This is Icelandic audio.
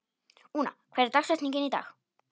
Úna, hver er dagsetningin í dag?